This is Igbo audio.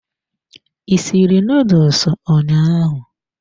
I sịrị noodles ụnyaahụ?